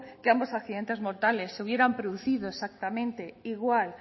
que ambos accidentes mortales se hubieran producido exactamente igual